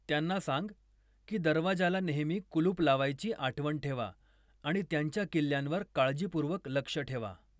त्यांना सांग की दरवाजाला नेहमी कुलूप लावायची आठवण ठेवा आणि त्यांच्या किल्ल्यांवर काळजीपूर्वक लक्ष ठेवा.